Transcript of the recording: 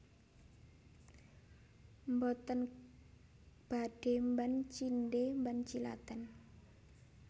Mboten badhe mban cindhe mban ciladan